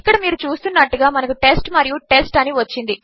ఇక్కడమీరుచూస్తున్నట్టుగా మనకు టెస్ట్ మరియు టెస్ట్ అనివచ్చింది